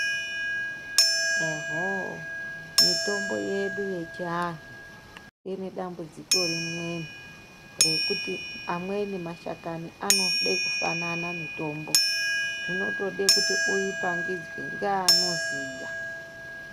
Ehoo mitombo yedu yechi anhu ine dambudziko rimwe rekuti amweni mashakani anode kufanana mitombo zvinotode kuti uyi pangidzwe ngeano ziya.